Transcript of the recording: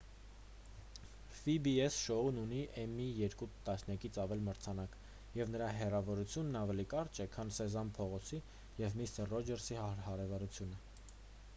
փի-բի-էս շոուն ունի էմմիի երկու տասնյակից ավել մրցանակ և նրա հեռավորությունն ավելի կարճ է քան սեզամ փողոցի և միսթր ռոջերսի հարևանությունը